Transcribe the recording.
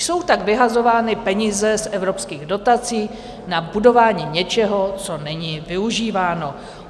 Jsou tak vyhazovány peníze z evropských dotací na budování něčeho, co není využíváno.